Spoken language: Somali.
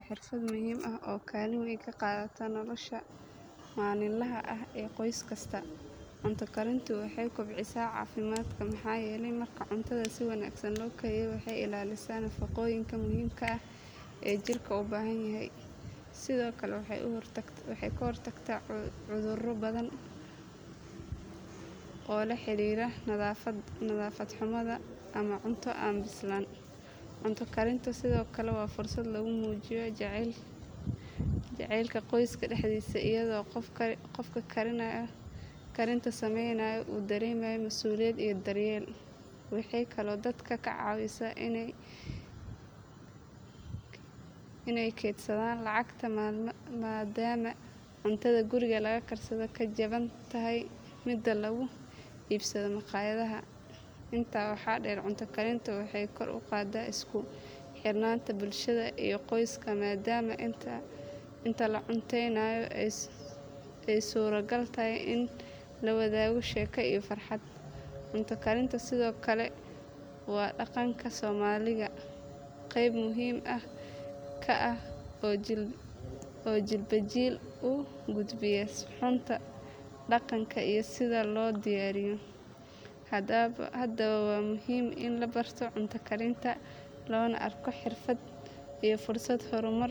Cunto karintu waa xirfad muhiim ah oo kaalin weyn ka qaadata nolosha maalinlaha ah ee qoys kasta. Cunto karintu waxay kobcisaa caafimaadka maxaa yeelay marka cuntada si wanaagsan loo kariyo waxay ilaalisaa nafaqooyinka muhiimka ah ee jirka u baahan yahay. Sidoo kale waxay ka hortagtaa cudurro badan oo la xiriira nadaafad xumo ama cunto aan bislaan. Cunto karintu sidoo kale waa fursad lagu muujiyo jacaylka qoyska dhexdiisa iyadoo qofka karinta sameynaya uu dareemayo masuuliyad iyo daryeel. Waxay kaloo dadka ka caawisaa inay kaydsadaan lacagta maadaama cuntada guriga lagu karsadaa ka jaban tahay mida lagu iibsado maqaayadaha. Intaa waxaa dheer cunto karintu waxay kor u qaaddaa isku xirnaanta bulshada iyo qoyska maadaama inta la cunteynayo ay suuragal tahay in la wadaago sheeko iyo farxad. Cunto karintu sidoo kale waa dhaqanka Soomaaliga qeyb muhiim ah ka ah oo jiilba jiil u gudbiya suxuunta dhaqanka iyo sida loo diyaariyo. Haddaba waa muhiim in la barto cunto karinta loona arko xirfad iyo fursad hormar.